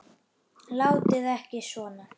Látið ekki svona.